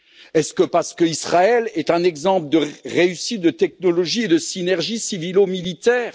Est ce parce qu'Israël est un exemple de réussite de technologies et de synergies civilo militaires?